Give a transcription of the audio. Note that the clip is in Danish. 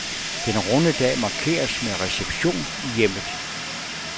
Den runde dag markeres med reception i hjemmet.